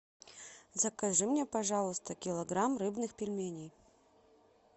закажи мне пожалуйста килограмм рыбных пельменей